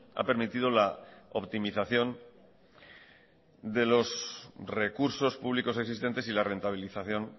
ha permitido la optimización de los recursos públicos existentes y la rentabilización